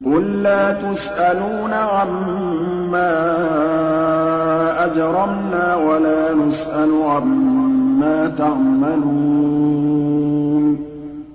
قُل لَّا تُسْأَلُونَ عَمَّا أَجْرَمْنَا وَلَا نُسْأَلُ عَمَّا تَعْمَلُونَ